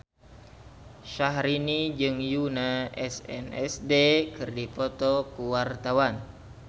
Syahrini jeung Yoona SNSD keur dipoto ku wartawan